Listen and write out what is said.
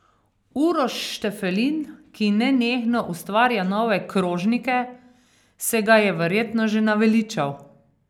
Uroš Štefelin, ki nenehno ustvarja nove krožnike, se ga je verjetno že naveličal.